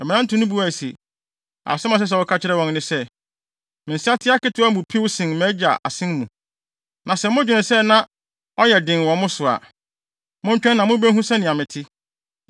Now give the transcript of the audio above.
Mmerante no buae se, “Asɛm a ɛsɛ sɛ woka kyerɛ wɔn ne se, ‘Me nsateaa ketewa no mu piw sen mʼagya asen mu. Na sɛ modwene sɛ na ɔyɛ den wɔ mo so a, montwɛn na mubehu sɛnea mete.’